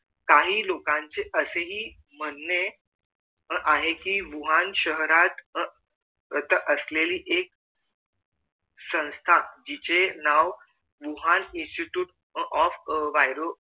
काही लोकांचे असेहि म्हणणे आहे कि भूहान शहरात अह असलेली एक संस्था जिचे नाव भूहान institute of viro